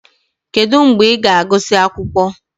Kedu mgbe ị ga-agụsị akwụkwọ?